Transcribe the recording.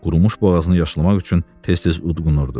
Qurumuş boğazını yaşlamaq üçün tez-tez udğunurdu.